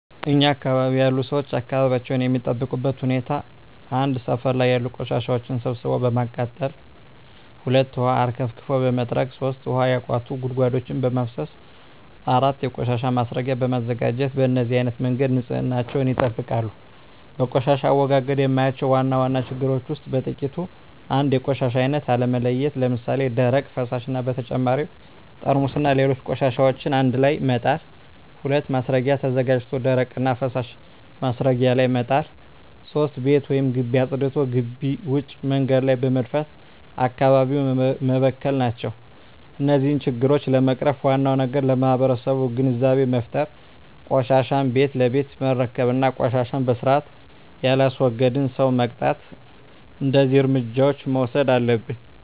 እኛ አካባቢ ያሉ ሠዎች አካባቢያቸውን የሚጠብቁበት ሁኔታ 1. ሠፈር ላይ ያሉ ቆሻሻዎችን ሠብስቦ በማቃጠል 2. ውሀ አርከፍክፎ በመጥረግ 3. ውሀ ያቋቱ ጉድጓዶችን በማፋሠስ 4. የቆሻሻ ማስረጊያ በማዘጋጀት በነዚህ አይነት መንገድ ንፅህናቸውን ይጠብቃሉ። በቆሻሻ አወጋገድ የማያቸው ዋና ዋና ችግሮች ውስጥ በጥቂቱ 1. የቆሻሻ አይነት አለመለየት ለምሣሌ፦ ደረቅ፣ ፈሣሽ እና በተጨማሪ ጠርሙስና ሌሎች ቆሻሻዎችን አንድላይ መጣል። 2. ማስረጊያ ተዘጋጅቶ ደረቅና ፈሣሽ ማስረጊያው ላይ መጣል። 3. ቤት ወይም ግቢ አፅድቶ ግቢ ውጭ መንገድ ላይ በመድፋት አካባቢውን መበከል ናቸው። እነዚህን ችግሮች ለመቅረፍ ዋናው ነገር ለማህበረሠቡ ግንዛቤ መፍጠር፤ ቆሻሻን ቤት ለቤት መረከብ እና ቆሻሻን በስርአት የላስወገደን ሠው መቅጣት። እደዚህ እርምጃዎች መውሠድ አለብን።